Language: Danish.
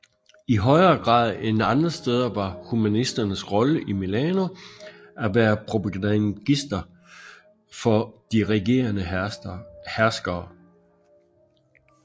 I højere grad end andre steder var humanisternes rolle i Milano at være propagandister for de regerende herskere